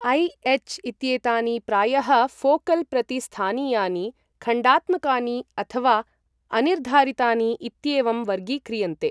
AH इत्येतानि प्रायः focal प्रति स्थानीयानि, खण्डात्मकानि अथवा अनिर्धारितानि इत्येवं वर्गीक्रियन्ते।